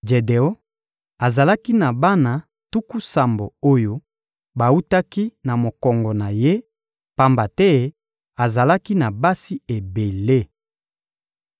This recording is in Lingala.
Jedeon azalaki na bana tuku sambo oyo bawutaki na mokongo na ye, pamba te azalaki na basi ebele.